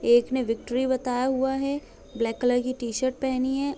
एक ने विकट्री बताया हुआ है ब्लैक कलर की टी -शर्ट पहनी हैं।